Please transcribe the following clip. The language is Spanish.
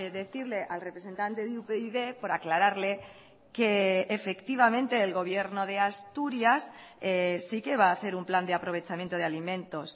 decirle al representante de upyd por aclararle que efectivamente el gobierno de asturias sí que va a hacer un plan de aprovechamiento de alimentos